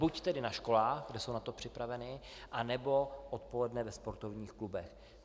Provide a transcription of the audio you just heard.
Buď tedy na školách, kde jsou na to připraveni, anebo odpoledne ve sportovních klubech.